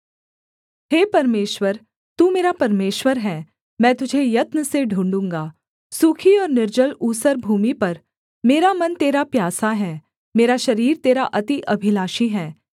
हे परमेश्वर तू मेरा परमेश्वर है मैं तुझे यत्न से ढूँढ़ूगा सूखी और निर्जल ऊसर भूमि पर मेरा मन तेरा प्यासा है मेरा शरीर तेरा अति अभिलाषी है